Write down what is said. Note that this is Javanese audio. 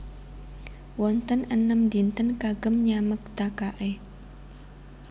Wonten enem dinten kagem nyamektakakè